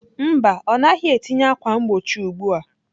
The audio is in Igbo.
Mba, ọ naghị etinye ákwà mgbochi ugbu a.